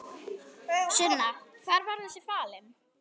Sunna: Hvar var þessi falinn?